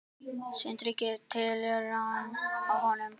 Sindri: Gera tilraun á honum?